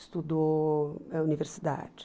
Estudou na universidade.